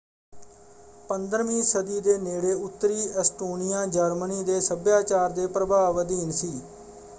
15ਵੀਂ ਸਦੀ ਦੇ ਨੇੜੇ ਉੱਤਰੀ ਐਸਟੋਨੀਆ ਜਰਮਨੀ ਦੇ ਸੱਭਿਆਚਾਰ ਦੇ ਪ੍ਰਭਾਵ ਅਧੀਨ ਸੀ।